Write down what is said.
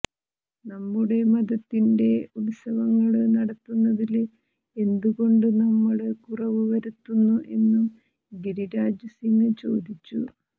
നമ്മുടെ മതത്തിന്റെ ഉത്സവങ്ങള് നടത്തുന്നതില് എന്തുകൊണ്ട് നമ്മള് കുറവ് വരുത്തുന്നു എന്നും ഗിരിരാജ് സിങ് ചോദിച്ചു